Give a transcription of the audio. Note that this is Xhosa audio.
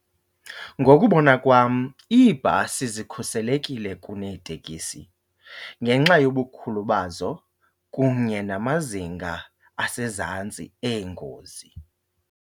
Ngokubona kwam iibhasi zikhuselekile kuneetekisi ngenxa yobukhulu bazo kunye namazinga asezantsi eengozi.